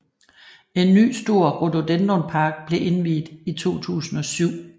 En ny stor rhododendronpark blev indviet i 2007